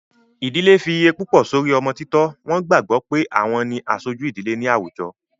Ìdilé fi iye púpọ̀ sórí ọmọ títọ́, wọ́n gbàgbọ́ pé àwọn ni aṣojú ìdílé náà ní àwùjọ